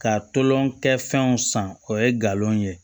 Ka tolon kɛ fɛnw san o ye galon ye